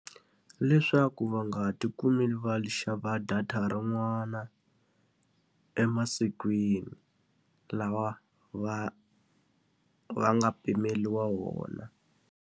Leswaku va nga ha ti kumi va xava data rin'wana emasikwini lawa va va nga pimeriwa wona.